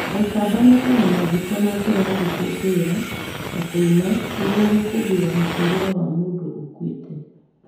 AiKamba mekaga mathiko na njĩra ya gũkũngũĩra na kũina nĩguo gũkũngũĩra mũtũũrĩre wa mũndũ ũkuĩte.